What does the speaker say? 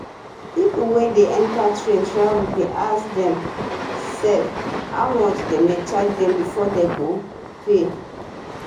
pipo wey wan enta train travel dey ask dem sefs how much dem charge dem before dem go pay